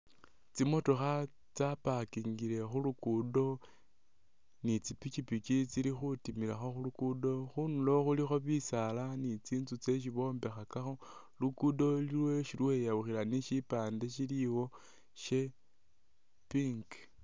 Tsimotokha tsapakingile khu luguudo ni tsipipiki tsili khutimilakho khu luguudo, khunulo khulikho bisaala ni tsinzu tseesi bombekhakakho. Luguudo luliwo isi lweyawukhila ni syipaande syiliwo sya pink.